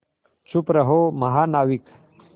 चुप रहो महानाविक